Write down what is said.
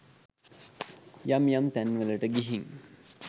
යම් යම් තැන්වලට ගිහින්